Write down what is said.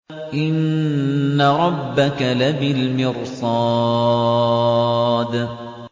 إِنَّ رَبَّكَ لَبِالْمِرْصَادِ